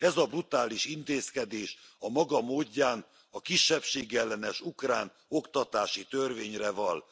Ez a brutális intézkedés a maga módján a kisebbségellenes ukrán oktatási törvényre vall.